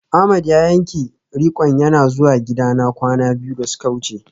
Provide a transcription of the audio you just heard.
Ahmed ya yanke rik'on yana zuwa gidana kwana biyu da suka wuce